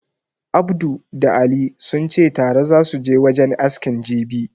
Abdu da Ali sunce tare zasu je wajen askin jibi